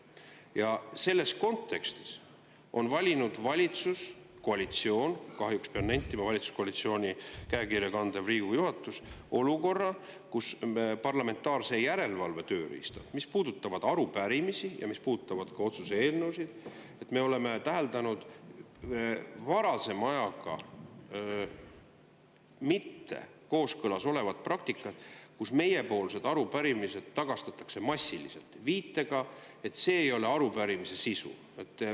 Ja selles kontekstis on valitsuskoalitsioon – ja kahjuks pean nentima, et ka valitsuskoalitsiooni käekirja kandev Riigikogu juhatus – tekitanud olukorra, kus on nii, nagu me oleme täheldanud varasema ajaga mitte kooskõlas oleva praktika puhul, et parlamentaarse järelevalve tööriistad, mis puudutavad arupärimisi ja ka otsuse eelnõusid, tagastatakse massiliselt viitega, et see ei ole arupärimise sisu.